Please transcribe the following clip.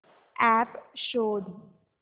app शोध